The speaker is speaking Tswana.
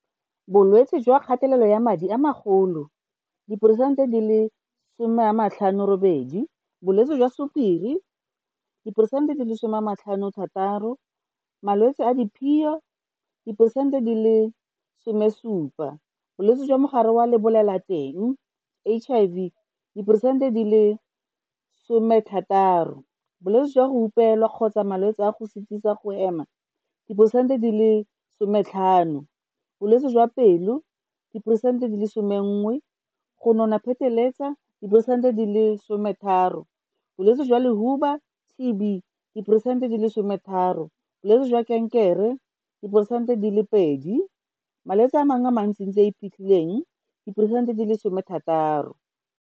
Bolwetse jwa kgatelelo ya madi a magolo, diporesente di le 58. Bolwetse jwa Sukiri, diporesente di le 56 Malwetse a diphio, diporesente di le17. Bolwetse jwa Mogare wa Lebolelateng HIV, diporesente di le16. Bolwetse jwa go hupelana kgotsa malwetse a go sitisa go hema, diporesente di le 15. Bolwetse jwa pelo, diporesente di le11. Go nona pheteletsa, diporesente di le 13. Bolwetse jwa lehuba TB, diporesente di le 13. Bolwetse jwa kankere, diporesente di le 2. Malwetse a mangwe a mantsi a a iphitlhileng, diporesente di le16.